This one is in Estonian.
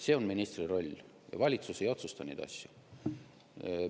See on ministri roll, valitsus ei otsusta neid asju.